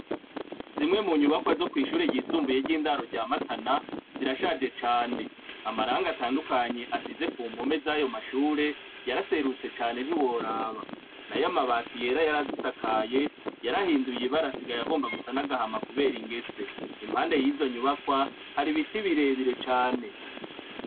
zimwe mu nyubakwa zo kwishure ryisumbuye ry'indaro rya matana zirashaje cane amaranga atandukanye asize ku mpome z'ayo mashure yaraserutse cane ntiworaba na yo amabati yera yarazisakaye yarahinduye ibarasigayo agomba gusa n'agahama kubera ingese impande y'izo nyubakwa hari biti birebire cane